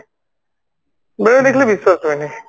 ମୋର ଏଟା କିନ୍ତୁ ବିଶ୍ବାସ ହୁଏନି